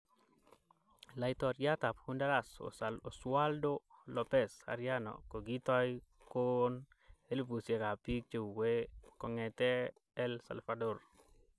Laitoriat ab Honduras Oswaldo L�pez Arellano kokitai koon elbusiek ab bik cheue kongete El Salvador.